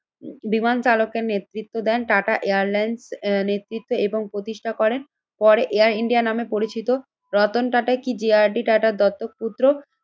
বিমান চালকের নেতৃত্ব দেন টাটা এয়ারলাইন্স নেতৃত্বে এবং প্রতিষ্ঠা করেন, পরে এয়ার ইন্ডিয়া নামে পরিচিত। রতন টাটা কি যে আর ডি টাটার দত্তক পুত্র?